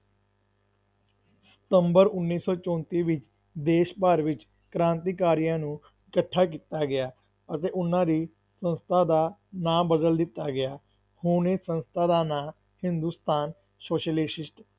ਸਤੰਬਰ ਉੱਨੀ ਸੌ ਚੋਂਤੀ ਵਿੱਚ ਦੇਸ਼ ਭਰ ਵਿੱਚ ਕ੍ਰਾਂਤੀਕਾਰੀਆਂ ਨੂੰ ਇਕੱਠਾ ਕੀਤਾ ਗਿਆ ਅਤੇ ਉਹਨਾਂ ਦੀ ਸੰਸਥਾ ਦਾ ਨਾਂ ਬਦਲ ਦਿੱਤਾ ਗਿਆ, ਹੁਣ ਇਹ ਸੰਸਥਾ ਦਾ ਨਾਂ ਹਿੰਦੁਸਤਾਨ ਸੋਸ਼ਲਿਸਟ